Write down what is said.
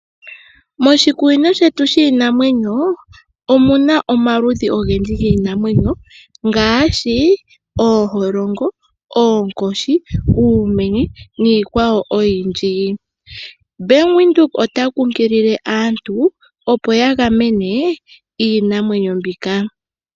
Moshikunino shetu shiinamwenyo omuna omaludhi ogendji giinamwenyo ngaashi, ooholongo, oonkoshi, uumenye niikwawo oyindji. Bank Windhoek ota kunkilile aantu opo yagamene iinamwenyo mbika.